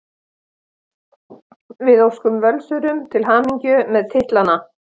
Við óskum Völsurum til hamingju með titlana!